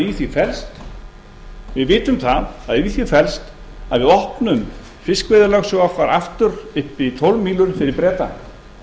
í því felst við vitum að í því felst að við opnum fiskveiðilögsögu okkar aftur upp í tólf mílur fyrir breta